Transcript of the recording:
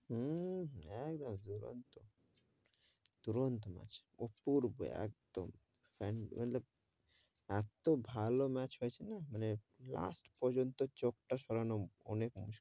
হূ, একদম দুরন্ত, দুরন্ত match অপূর্বে একদম এতো ভালো match হয়েছে না last পর্যন্ত চোখ তা সরানো অনেক মুশকিল,